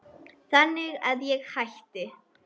Þannig að ég hætti.